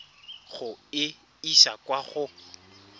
go e isa kwa go